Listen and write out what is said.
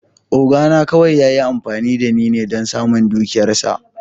Oga na kawai ya yi amfani da ni don samun dukiyarsa.